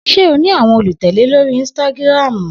Se ó ní àwọn olùtẹ̀lẹ́ lorii ínsítágírámú?